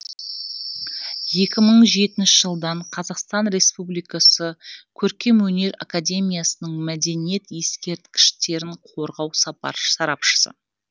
екі мың жетінші жылдан қазақстан республикасы көркемөнер академиясының мәдениет ескерткіштерін қорғау сарапшысы